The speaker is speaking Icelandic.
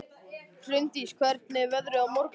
Hraundís, hvernig er veðrið á morgun?